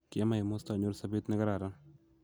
kiama emosto anyor sobet ne kararan.